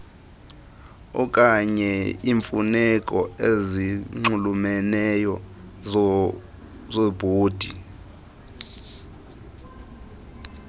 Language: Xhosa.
okanyeiimfuneko ezinxulumeneyo zebhodi